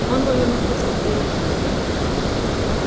он повернулся к белому клыку